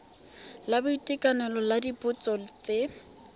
la boitekanelo la dipotso tse